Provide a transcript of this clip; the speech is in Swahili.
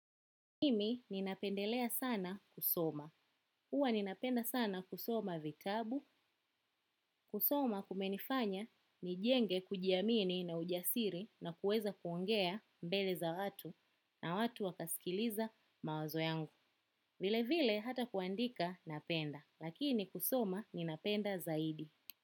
Mimi ninapendelea sana kusoma. hUwa ninapenda sana kusoma vitabu. Kusoma kumenifanya ni jenge kujiamini na ujasiri na kueza kuongea mbele za watu na watu wakasikiliza mawazo yangu. Vile vile hata kuandika napenda. Lakini kusoma ninapenda zaidi.